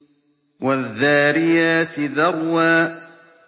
وَالذَّارِيَاتِ ذَرْوًا